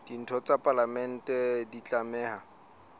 ditho tsa palamente di tlameha